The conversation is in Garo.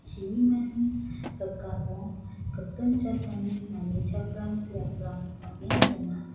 chibimani rikamo gipin jatrangni manichakram biaprang bang·en donga.